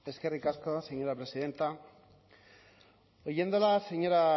eskerrik asko señora presidenta oyéndola señora